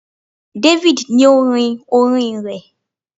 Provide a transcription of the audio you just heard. David ni o rin orín rẹ